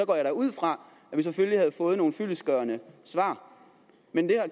går jeg da ud fra at vi selvfølgelig havde fået nogle fyldestgørende svar men det